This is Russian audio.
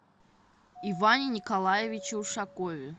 иване николаевиче ушакове